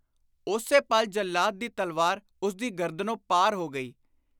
ਉਸੇ ਪਲ ਜੱਲਾਦ ਦੀ ਤਲਵਾਰ ਉਸਦੀ ਗਰਦਨੋਂ ਪਾਰ ਹੋ ਗਈ।